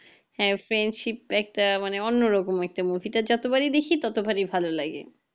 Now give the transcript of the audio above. হ্যাঁ friendship একটা অন্যরকম একটা movie এটা যতবারই দেখি ততবাড়ি ভালো লাগে